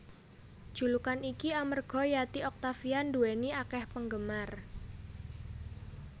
Julukan iki amarga Yati Octavia nduwèni akèh penggemar